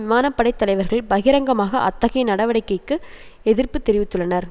விமான படை தலைவர்கள் பகிரங்கமாக அத்தகைய நடவடிக்கைக்கு எதிர்ப்பு தெரிவித்துள்ளனர்